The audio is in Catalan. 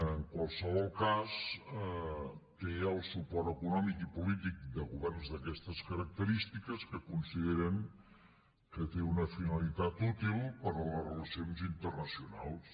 en qualsevol cas té el suport econòmic i polític de governs d’aquestes característiques que consideren que té una finalitat útil per a les relacions internacionals